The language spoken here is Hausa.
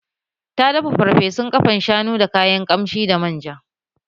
Ta dafa farfesun ƙafan shanu da kayan kamshi da man ja